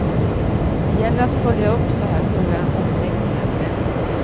Det gäller att följa upp så här stora omläggningar ordentligt.